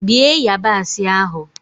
Bie yabasị ahụ!